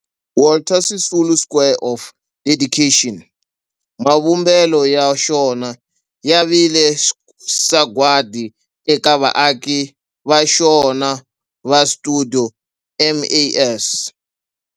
Walter Sisulu Square of Dedication, mavumbelo ya xona ya vile sagwadi eka vaaki va xona va stuidio MAS.